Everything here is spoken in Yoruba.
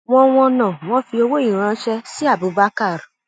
wọn wọnà wọn fi owó yìí ránṣẹ sí abubakar